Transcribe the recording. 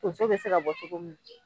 Tonso bɛ se ka bɔ cogo min na